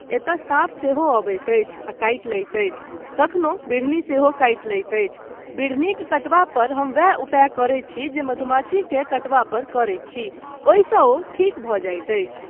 एतय साँप सेहो अबैत अछि आ काटि लैत अछि, कखनो बिढ़नी सेहो काटि लैत अछि, बिढ़नीक कटबा पर हम वैह उपाय करैत छी जे मधुमाछीकेँ कटबा पर करैत छी, ओहिसँ ओ ठीक भऽ जाइत अछि।